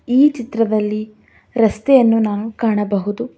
ಈ ಚಿತ್ರದಲ್ಲಿ ರಸ್ತೆಯನ್ನು ನಾವು ಕಾಣಬಹುದು.